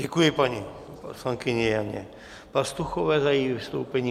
Děkuji paní poslankyni Janě Pastuchové za její vystoupení.